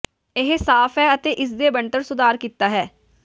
ਇਹ ਸਾਫ ਹੈ ਅਤੇ ਇਸ ਦੇ ਬਣਤਰ ਸੁਧਾਰ ਕੀਤਾ ਹੈ